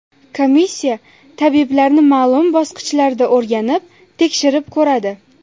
Komissiya tabiblarni ma’lum bosqichlarda o‘rganib, tekshirib ko‘radi.